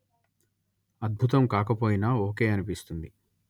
అద్బుతం కాకపోయినా ఓకే అనిపిస్తుంది